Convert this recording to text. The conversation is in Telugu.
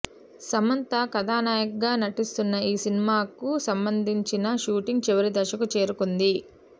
సమంత కథానాయికగా నటిస్తున్న ఈ సినిమాకు సంబంధించిన షూటింగ్ చివరి దశకు చేరుకుంది